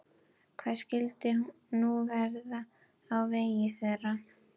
Hvað skyldi nú verða á vegi þeirra?